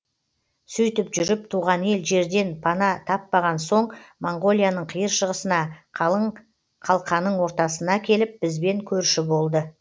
сөйтіп жүріп туған ел жерден пана таппаған соң монғолияның қиыр шығысына қалың қалқаның ортасына келіп бізбен көрші болды